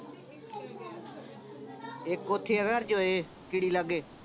ਇੱਕ ਓਥੇ ਹੈਗਾ ਅਰਜੋਏ ਕੀੜੀ ਲਾਗੇ